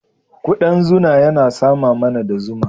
Ƙudan zuna yana sama mana da zuma.